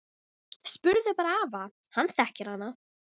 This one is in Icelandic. Spurðu bara afa, hann þekkir hana!